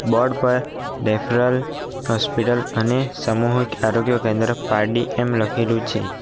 Board પર referral hospital અને સમૂહિક આરોગ્ય કેન્દ્ર પારડી એમ લખેલું છે.